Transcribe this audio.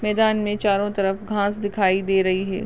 मैदान में चारो तरफ घास दिखाई दे रही है।